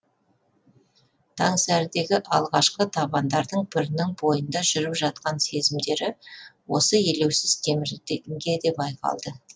таңсәрідегі алғашқы табандардың бірінің бойында жүріп жатқан сезімдері осы елеусіз темірге де байқалды